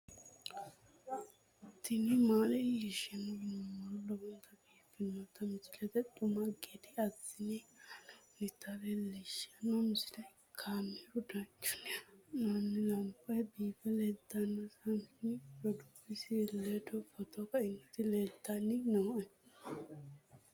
tini maa leelishshanno yaannohura lowonta biiffanota misile xuma gede assine haa'noonnita leellishshanno misileeti kaameru danchunni haa'noonni lamboe biiffe leeeltanno saami roduuwisi ledo footo kainoti leeltanni nooe